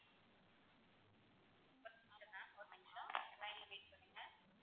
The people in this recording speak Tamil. ஒரு நிமிஷம் ma'am ஒரு நிமிஷம் line ல wait பண்ணுங்க.